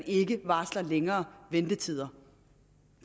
ikke varsles længere ventetider